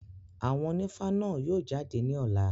Àwọn ònífá náà yóò jáde ní ọ̀la.